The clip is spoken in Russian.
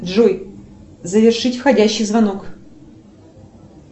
джой завершить входящий звонок